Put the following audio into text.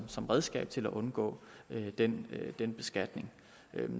som redskab til at undgå den den beskatning